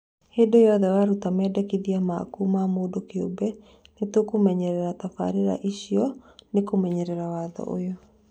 Hĩndĩ yothe waruta mendikithia maku ma mũndũ kĩũmbe, nĩtũkũmenyerera tabarĩra icio nĩkũmenyerera watho ũyũ